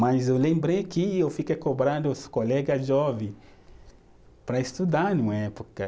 Mas eu lembrei que eu fiquei cobrando os colega jovem para estudar numa época.